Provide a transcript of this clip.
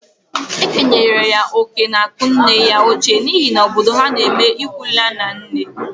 E kenyere ya oke n'akụ nne ya ochie n'ihi na obodo ha n'eme ịkwụ laa na nne.